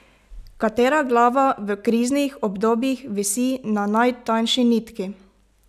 Katera glava v kriznih obdobjih visi na najtanjši nitki?